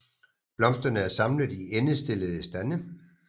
Blomsterne er samlet i endestillede stande